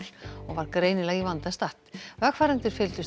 og var greinilega í vanda statt vegfarendur fylgdust